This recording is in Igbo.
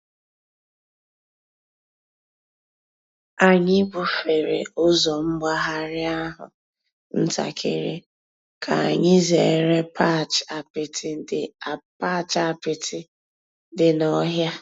Ányị́ búfèré ụ́zọ́ m̀gbàghàrị́ àhú́ ǹtàkị́rị́ kà ányị́ zèéré patch àpịtị́ dị́ n'ọ̀hị́à.